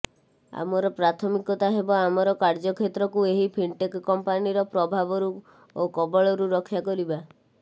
ଆମର ପ୍ରାଥମିକତା ହେବ ଆମର କାର୍ଯ୍ୟ କ୍ଷେତ୍ରକୁ ଏହି ଫିଣ୍ଟେକ୍ କମ୍ପାନିର ପ୍ରଭାବରୁ ଓ କବଳରୁ ରକ୍ଷା କରିବା